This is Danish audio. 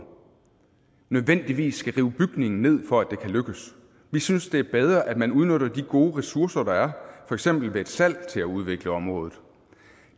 nødvendigvis skal rive bygningen ned for at det kan lykkes vi synes det er bedre at man udnytter de gode ressourcer der er for eksempel ved et salg til at udvikle området